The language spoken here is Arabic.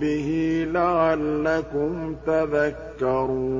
بِهِ لَعَلَّكُمْ تَذَكَّرُونَ